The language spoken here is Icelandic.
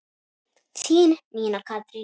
Þín, Nína Katrín.